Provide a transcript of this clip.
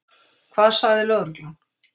Hvað sagði lögreglan?